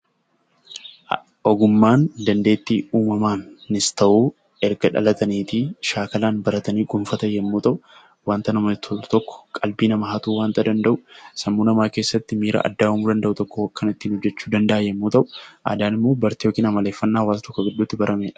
Ogummaan dandeettii uumamaan haa ta'uu, erga dhalatanii shaakalaan baratanii kan kuufatan yoo ta'u, waanta namatti tolu tokko, waantota qalbii nama hatu tokko sammuu namaa keessatti miira addaa uumuu danda'u tokko kan itti mul'achuu danda'udha. Aadaan immoo bartee yookiin amaleeffannaa hawaasa tokko gidduutti taasifamedha.